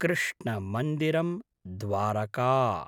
कृष्णमन्दिरम् Dwarka